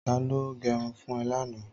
Tàló gẹrún fùn è làná?